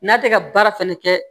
N'a tɛ ka baara fɛnɛ kɛ